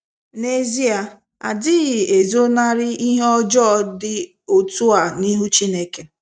N'ezie, adịghị ezo narị ihe ọjọọ dị otua n'ihu Chineke